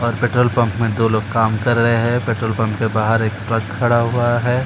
और petrol pump में दो लोग काम कर रहे हैं। पेट्रोल पंप के बाहर एक ट्रक खड़ा हुआ है। --